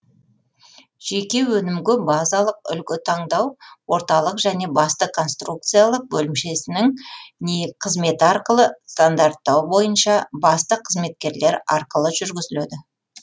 жеке өнімгө базалық үлгі таңдау орталық және басты конструкциялық бөлімшесінің қызметі арқылы стандарттау бойынша басты қызметкерлер арқылы жүргізілөді